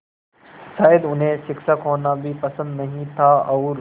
शायद उन्हें शिक्षक होना भी पसंद नहीं था और